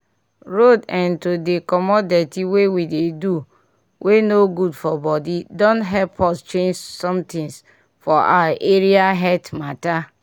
road eh to dey comot dirty wey we dey do wey no good for body don help us change somethings for our area health mata